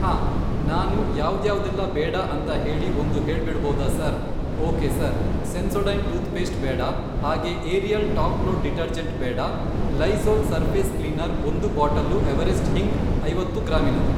ಹಾಂ ನಾನು ಯಾವ್ದ್ಯಾವ್ದೆಲ್ಲ ಬೇಡ ಅಂತ ಹೇಳಿ ಒಂದು ಹೇಳ್ಬಿಡೋದಾ sir okay sir Sensodyne toothpaste ಬೇಡ ಹಾಗೆ ಏರಿಯಲ್ ಟಾಪ್ ಲೋಡ್ ಡಿಟರ್ಜೆಂಟ್ ಬೇಡ ಲೈಝೋಲ್ ಸರ್ಫೇಸ್ ಕ್ಲೀನರ್ ಒಂದು ಬಾಟಲ್ಲು ಎವರೆಸ್ಟ್ ಹಿಂಗ್ ಐವತ್ತು ಗ್ರಾಮಿನದು.